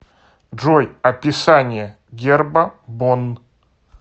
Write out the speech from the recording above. джой описание герба бонн